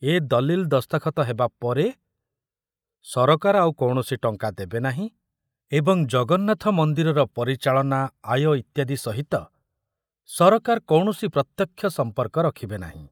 ଏ ଦଲିଲ ଦସ୍ତଖତ ହେବା ପରେ ସରକାର ଆଉ କୌଣସି ଟଙ୍କା ଦେବେନାହିଁ ଏବଂ ଜଗନ୍ନାଥ ମନ୍ଦିରର ପରିଚାଳନା, ଆୟ ଇତ୍ୟାଦି ସହିତ ସରକାର କୌଣସି ପ୍ରତ୍ୟକ୍ଷ ସମ୍ପର୍କ ରଖିବେ ନାହିଁ।